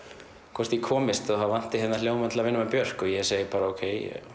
hvort ég komist því það vanti hljóðmann til að vinna með Björk og ég segi bara ókei